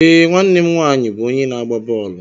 Ee, nwanne m nwaanyị bụ onye na-agba bọọlụ.